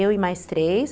Eu e mais três.